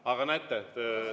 Aga näete …